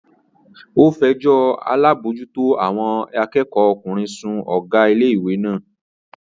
Ó fẹjọ́ alábòójútó àwọn akẹ́kọ̀ọ́ ọkùnrin sun Ọ̀gá ilé ìwé lánàá